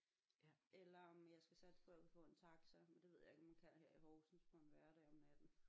Eller om jeg skal satse på at kunne få taxa men det ved jeg ikke om man kan her i Horsens på en hverdag om natten